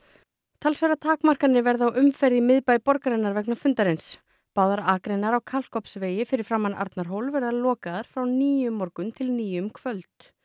talsverðar takmarkanir verða á umferð í miðbæ borgarinnar vegna fundarins báðar akreinar á Kalkofnsvegi fyrir framan Arnarhól verða lokaðar frá níu um morgun til níu um kvöld